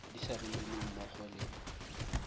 di sa romelweng mmogo le